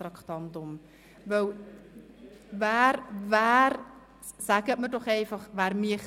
Dann sagen Sie mir doch einfach, wer das macht?